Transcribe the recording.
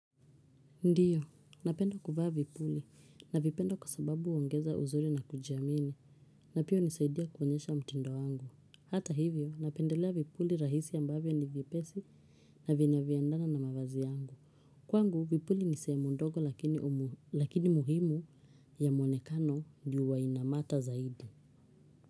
Ndiyo, napenda kuvaa vipuli navipenda kwa sababu huongeza uzuri na kujiamini na pia hunisaidia kuonyesha mtindo wangu. Hata hivyo, napendelea vipuli rahisi ambavyo ni vipesi na vina viandana na mavazi yangu. Kwangu, vipuli ni sehemu ndogo lakini muhimu ya mwonekano ju huwa inamata zaidi.